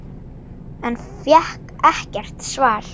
En fékk ekkert svar.